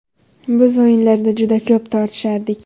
Biz o‘yinlarda juda ko‘p tortishardik.